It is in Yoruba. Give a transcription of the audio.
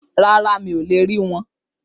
Rárá, mi ò le rí wọn